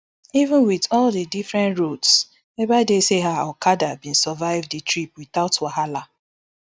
even wit all di different roads ebaide say her okada bin survive di trip witout wahala